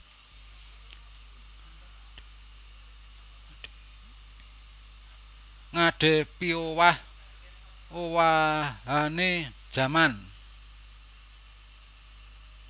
Ngadhepiowah owahané jaman